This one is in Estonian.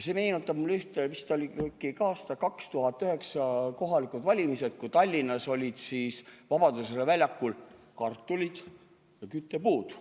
See meenutab mulle – mis ta oli, vist aasta 2009 kohalikud valimised –, kui Tallinnas olid Vabaduse väljakul kartulid ja küttepuud.